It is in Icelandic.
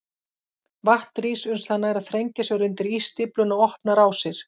Vatn rís uns það nær að þrengja sér undir ísstífluna og opna rásir.